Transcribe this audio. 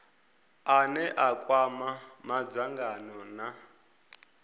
ane a kwama madzangano na